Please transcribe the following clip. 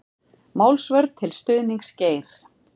Málsvörn til stuðnings Geir